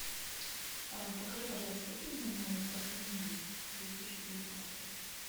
покажи пожалуйста фильмы новые про криминал две тысячи девятнадцатый